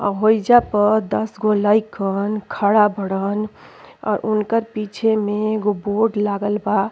और होइजा पर दस गो लइकन खड़ा बड़न और उनकर पीछे में एगो बोर्ड लागल बा।